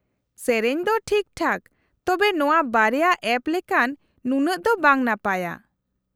-ᱥᱮᱹᱨᱮᱹᱧ ᱫᱚ ᱴᱷᱤᱠᱴᱷᱟᱠ, ᱛᱚᱵᱮ ᱱᱚᱶᱟ ᱵᱟᱨᱭᱟ ᱮᱯ ᱞᱮᱠᱟᱱ ᱱᱩᱱᱟᱹᱜ ᱫᱚ ᱵᱟᱝ ᱱᱟᱯᱟᱭᱼᱟ ᱾